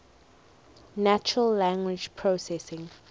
natural language processing